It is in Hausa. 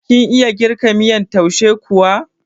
Kin iya girka miyan taushe kuwa?